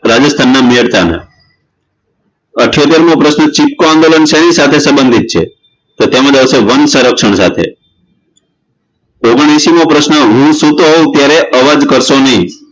રાજસ્થાનના મેરતાન અઠયોતરમો પ્રશ્ન ચીપકો આંદોલન શેની સાથે સંબંધિત છે તેમા આવશે વન્સરક્ષણ સાથે ઑગણહએશીમો પ્રશ્ન હું સૂતો હોવ ત્યારે અવાજ કરશો નહિ